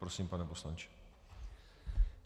Prosím, pane poslanče.